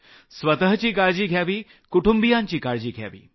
स्वतःची काळजी घ्यावी कुटुंबियांची काळजी घ्यावी